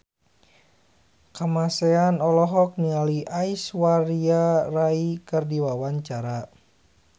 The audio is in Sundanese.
Kamasean olohok ningali Aishwarya Rai keur diwawancara